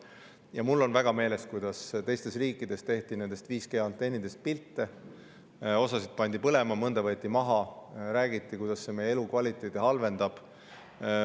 Mul on väga meeles, kuidas teistes riikides tehti 5G-antennidest pilte, osa pandi põlema, mõni võeti maha, räägiti, kuidas see meie elukvaliteeti halvendab.